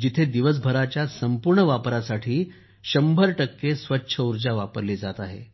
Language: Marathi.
जिथे दिवसभरच्या संपूर्ण वापरासाठी 100 स्वच्छ ऊर्जा वापरली जात आहे